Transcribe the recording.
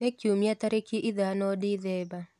ni kĩumĩa tarĩkĩ ithano dithemba